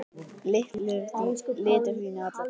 litir þínir alla tíð.